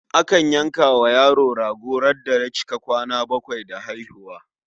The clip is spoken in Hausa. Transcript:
Akan yanka wa yaro rago ranar da ya cika kwana bakwai da haihuwa.